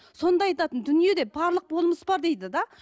сонда айтатын дүниеде барлық болмыс бар дейді де